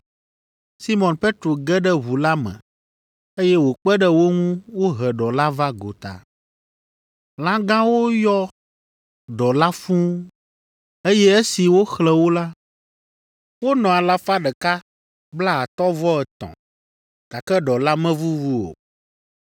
Simɔn Petro ge ɖe ʋu la me, eye wòkpe ɖe wo ŋu wohe ɖɔ la va gota. Lã gãwo yɔ ɖɔ la fũu eye esi woxlẽ wo la, wonɔ alafa ɖeka blaatɔ̃-vɔ-etɔ̃ (153) gake ɖɔ la mevuvu o.